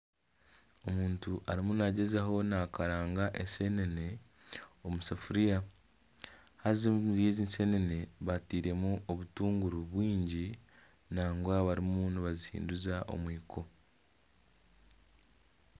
Omuntu arimu nagyezaho nakaranga eseneene omusafiriya. Haza omuri ezi eseneene bateiremu obutunguru bwingi nangwa barimu nibazihinduza omwiko.